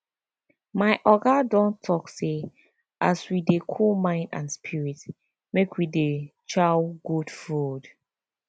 my oga don talk say as we dey cool mind and spirit make we dey chow good food